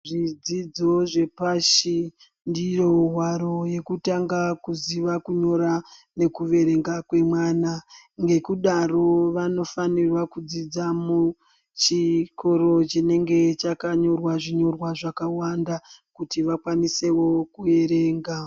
Zvidzidzo zvepashi ndiyo hwaro yekutanga kuziva kunyora nekuverenga kwemwana. Ngekudaro vanofanira kudzidza muchikora chinenge chakanyorwa zvinyorwa zvakawanda kuti vakwanise wo kuerenga.